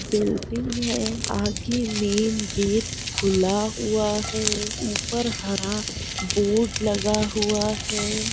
Building है आगे main gate खुला हुआ है ऊपर हरा बोर्ड लगा हुआ है।